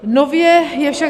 Nově je však -